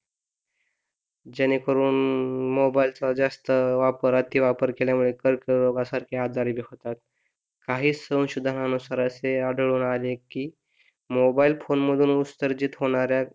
जेणेकरून मोबाईलचा जास्त वापर अतिवापर केल्यामुळे कर्करोगासारखे आजार होतात काही संशोधानुसार असे आढळून आले की मोबाईल फोन मधून उसर्जित होणाऱ्या